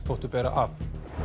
þóttu bera af